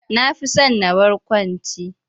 Na fi son na barkwanci.